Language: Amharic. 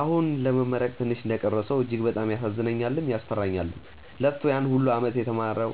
አሁን ለመመረቅ ትንሽ እንደቀረው ሰው እጅግ በጣም ያሳዝነኛልም፤ ያስፈራኛልም። ለፍቶ ያን ሁላ አመት የተማረው